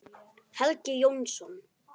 Helgi Jónsson